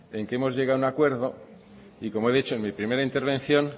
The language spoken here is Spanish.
en que hemos llegado a un acuerdo y como he dicho en mi primera intervención